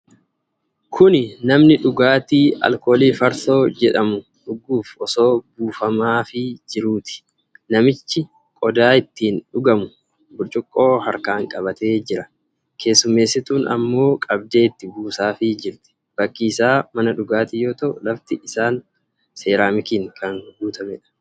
Kuni namni dhugaatii alkoolii Farsoo jedhamu dhuguuf osoo buufamaafii jiruuti. Namichi qodaa ittiin dhugamu, burcuqqoo harkaan qabatee jira. Keessummeessituun ammoo qabdee itti buusaafii jirti. Bakki isaa mana dhugaatii yoo ta'u, lafti isaa seraamikiin kan guutameedha.